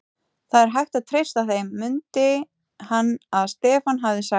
Það er hægt að treysta þeim, mundi hann að Stefán hafði sagt.